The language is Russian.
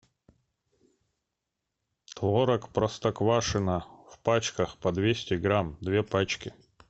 творог простоквашино в пачках по двести грамм две пачки